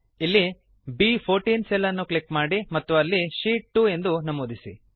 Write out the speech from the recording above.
ಇಲ್ಲಿ ಬ್14 ಸೆಲ್ ಅನ್ನು ಕ್ಲಿಕ್ ಮಾಡಿ ಮತ್ತು ಅಲ್ಲಿ ಶೀಟ್ 2 ಎಂದು ನಮೂದಿಸಿ